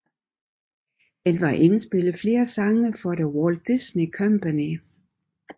Han har indspillet flere sange for the Walt Disney Company